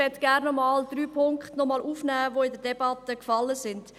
Ich möchte gerne drei Punkte noch einmal aufnehmen, die in der Debatte gefallen sind.